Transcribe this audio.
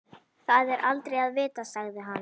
Það er aldrei að vita sagði hann.